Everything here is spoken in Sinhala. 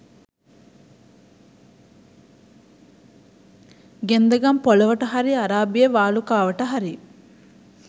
ගෙන්දගම් පොළොවට හරි අරාබියේ වාලුකාවට හරි